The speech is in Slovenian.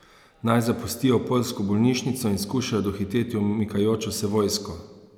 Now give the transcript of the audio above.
Naj zapustijo poljsko bolnišnico in skušajo dohiteti umikajočo se vojsko?